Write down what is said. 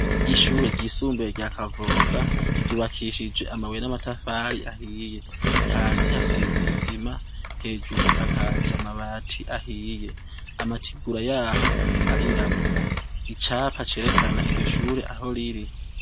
Ishure ryisumbuye rya Kavoga rybakishije amabuye n'amatafari ahiye. Hasi hasize isima, hejuru hasakaje amabati ahiye, amategura yaho arirabura. Icapa cerekana iryo shure aho riri.